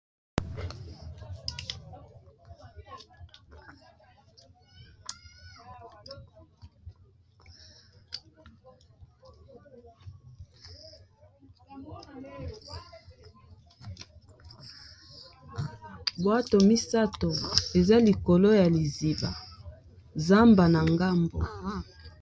Buato misato eza likolo ya liziba zamba na ngambo.